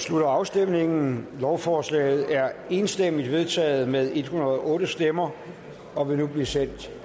slutter afstemningen lovforslaget er enstemmigt vedtaget med en hundrede og otte stemmer og vil nu blive sendt